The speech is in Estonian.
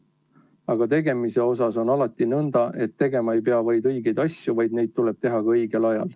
Aga tegemisega on alati nõnda, et tegema ei pea vaid õigeid asju, vaid neid tuleb teha ka õigel ajal.